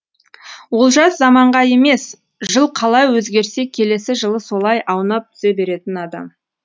олжас заманға емес жыл қалай өзгерсе келесі жылы солай аунап түсе беретін адам